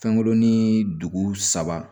Fɛnkurunin dugu saba